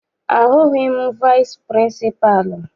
Ahụghị m vici pịrịnsịpalụ.